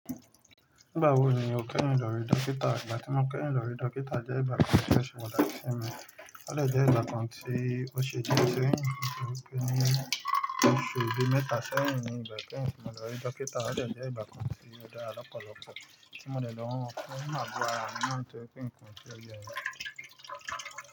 Nígbà wo ni o kẹ́yin lórí dókítà? Ìgbà tí mo keyin lórí dókítà jẹ́ ìgbà kan tí ose pataki simi Ó lẹ̀ jẹ́ ìgbà kan tí ó ṣe di irẹ́yìn mi pé ó pẹ́ ní oṣù ẹbì mẹ́ta sẹ́yìn nígbà tí mo lọ rí dókítà. Ó lẹ̀ jẹ́ ìgbà kan tí ó dá lọ́pọ̀lọpọ̀ tí mo dẹ̀ ló ń máa gbọ́ ara mi mọ́ tó pé nǹkan tí ó jẹ́ mi.